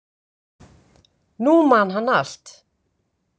Nú man hann allt.